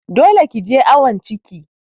Dole ki je awon ciki!